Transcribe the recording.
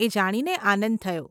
એ જાણીને આનંદ થયો.